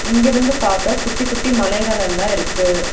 இங்க இருந்து பாக்க குட்டி குட்டி மலைகள் எல்லா இருக்கு.